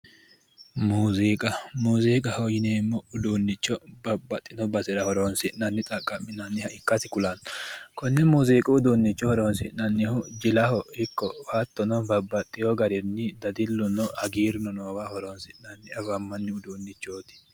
Muziiqa, muziiqaho yineemmo uduunicho babbaxino basera horonsi'neemmoha ikkasi ku'lano koni muziiqu uduunicho horonsi'nannihu jilaho ikko hattono babbaxeyo garinni hagiiruno dadiluno horonsi'nanni afamanni uduunichoti.